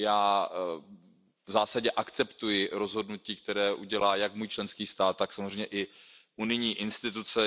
Já v zásadě akceptuji rozhodnutí, které udělá jak můj členský stát, tak samozřejmě i unijní instituce.